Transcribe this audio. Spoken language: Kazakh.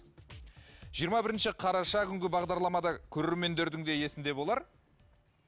жиырма бірінші қараша күнгі бағдарламада көреремендердің де есінде болар